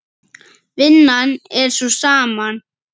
Vinnan er sú sama.